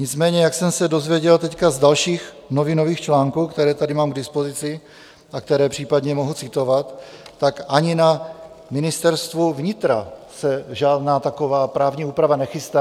Nicméně jak jsem se dozvěděl teď z dalších novinových článků, které tady mám k dispozici a které případně mohu citovat, tak ani na Ministerstvu vnitra se žádná taková právní úprava nechystá.